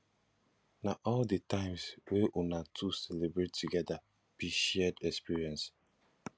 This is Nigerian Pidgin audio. na all di times wey una two celebrate togeda be shared experience